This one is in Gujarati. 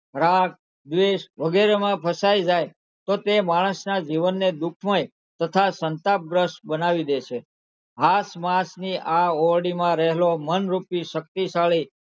રાગ, દ્વેષ વગેરેમાં ફસાઈ જાય તો તે માણસના જીવનને દુઃખમય તથા સંતાપગ્રસ્ત બનાવી દે છે આસપાસની આ ઓરડીમાં રહેલો મનરૂપી શક્તિશાળી,